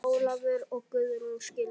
Ólafur og Guðrún skildu.